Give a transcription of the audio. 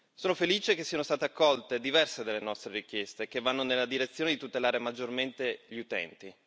Sono felice che siano state accolte diverse delle nostre richieste che vanno nella direzione di tutelare maggiormente gli utenti.